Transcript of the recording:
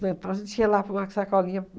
Então, a gente ia lá por uma sacolinha.